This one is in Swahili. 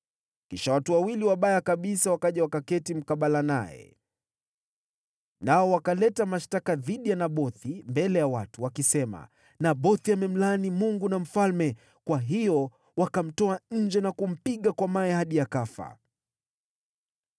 Kisha watu wawili wabaya kabisa wakaja wakaketi mkabala naye, nao wakaleta mashtaka dhidi ya Nabothi mbele ya watu, wakisema, “Nabothi amemlaani Mungu na mfalme.” Kwa hiyo wakamtoa nje na kumpiga kwa mawe hadi akafa.